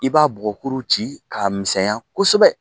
I b'a bugɔkuru ci k'a misɛnya kosɛbɛ